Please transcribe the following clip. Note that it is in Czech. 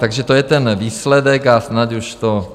Takže to je ten výsledek a snad už to...